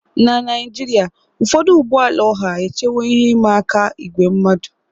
Na Naijiria, ụfọdụ ụgbọ ala ọha echewo ihe ịma aka ígwè mmadu.